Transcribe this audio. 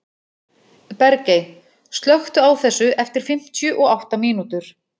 Bergey, slökktu á þessu eftir fimmtíu og átta mínútur.